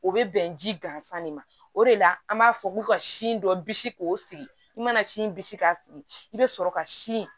O bɛ bɛn ji gansan de ma o de la an b'a fɔ ko ka sin dɔ bisi k'o sigi i mana sin bisi k'a sigi i bɛ sɔrɔ ka sin